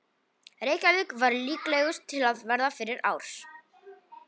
Reykjavík var líklegust til að verða fyrir árs.